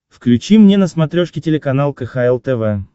включи мне на смотрешке телеканал кхл тв